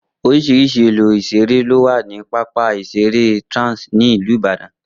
Oríṣiríṣi ohun èlò ìṣeré ló wà ní pápá ìṣeré Trans ní ìlú Ìbàdàn